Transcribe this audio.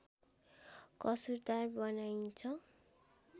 कसुरदार बनाइन्छ